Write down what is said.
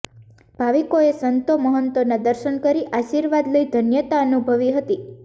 ભાવિકોએ સંતો મહંતોના દર્શન કરી આશીર્વાદ લઇ ધન્યતા અનુભવી હતી